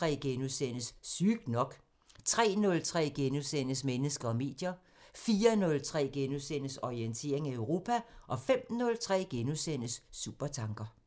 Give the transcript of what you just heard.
02:03: Sygt nok * 03:03: Mennesker og medier * 04:03: Orientering Europa * 05:03: Supertanker *